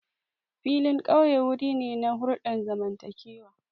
Filin ƙauye wuri ne na hulɗar zamantakewa.